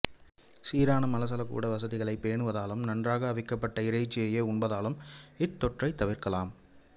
சீரான மலசலகூட வசதிகளைப் பேணுவதாலும் நன்றாக அவிக்கப்பட்ட இறைச்சியையே உண்பதாலும் இத்தொற்றைத் தவிர்க்கலாம்